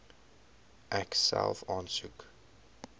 ek self aansoek